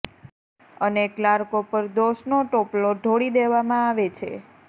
અને કલાર્કો પર દોષનો ટોપલો ઢોળી દેવામાં આવે છે